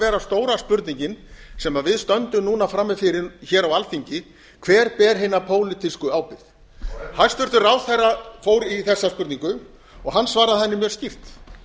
vera stóra spurningin sem við stöndum núna frammi fyrir hér á alþingi hver ber hina pólitísku ábyrgð hæstvirts ráðherra fór í þessa spurningu hann svaraði henni mjög skýrt